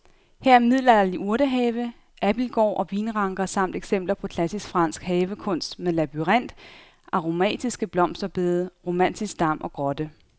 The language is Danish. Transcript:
Her er middelalderlig urtehave, abildgård og vinranker samt eksempler på klassisk fransk havekunst med labyrint, aromatiske blomsterbede, romantisk dam og grotte.